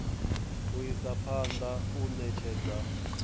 u isa phanḓa u ṋetshedza